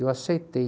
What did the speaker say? E eu aceitei.